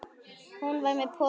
Hún var með pokann sinn.